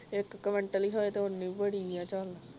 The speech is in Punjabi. ਇਕ ਕਵਿੰਟਲ ਹੀ ਹੋਵੇ ਤੇ ਉਹਨੇ ਹੀ ਬੜੀ ਹੈ ਚਲ